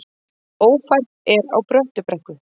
Ófært er á Bröttubrekku